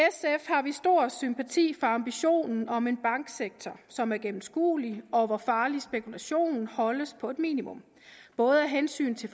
har vi stor sympati for ambitionen om en banksektor som er gennemskuelig og hvor farlig spekulation holdes på et minimum både af hensyn til